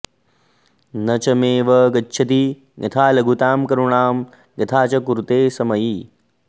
न च मेऽवगच्छति यथा लघुतां करुणां यथा च कुरुते स मयि